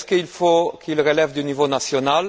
Faut il qu'il relève du niveau national?